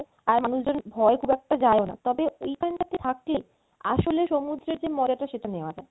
আর মানুষজন ভয়ে খুব একটা যায়ও না তবে ঐখানটাতে থাকলে আসলে সমুদ্রের যে মজাটা সেটা নেয়া যায়